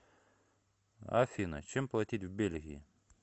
афина чем платить в бельгии